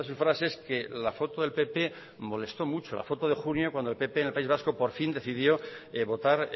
frases que la foto del pp molestó mucho la foto de junio cuando el pp en el país vasco por fin decisión de votar